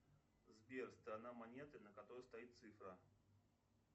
сбер сторона монеты на которой стоит цифра